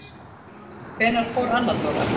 Hvenær fór Anna Dóra?